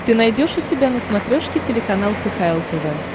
ты найдешь у себя на смотрешке телеканал кхл тв